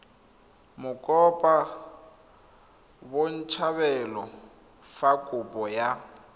mokopa botshabelo fa kopo ya